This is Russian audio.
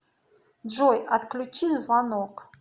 джой отключи звонок